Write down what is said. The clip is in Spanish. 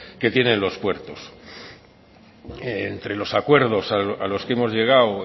que tienen los puertos entre los acuerdos a los que hemos llegado